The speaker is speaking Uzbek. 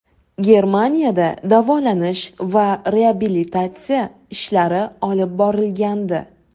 Germaniyada davolanish va reabilitatsiya ishlari olib borilgandi .